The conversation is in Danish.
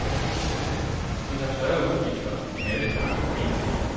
Vi har større udgifter end alle de andre foreninger.